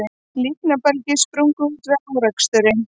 Líknarbelgir sprungu út við áreksturinn